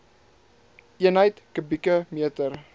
eenheid kubieke meter